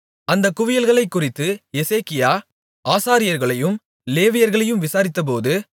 அந்தக் குவியல்களைக் குறித்து எசேக்கியா ஆசாரியர்களையும் லேவியர்களையும் விசாரித்தபோது